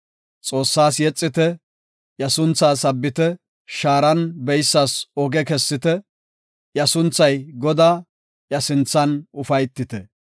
Xoossaas yexite; iya sunthaa sabbite; shaaran beysas oge kessite; iya sunthay Godaa; iya sinthan ufaytite.